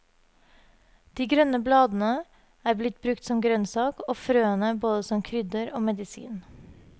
De grønne bladene er blitt brukt som grønnsak, og frøene både som krydder og medisin.